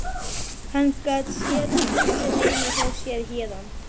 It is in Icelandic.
Hann gat séð húsið heima hjá sér héðan.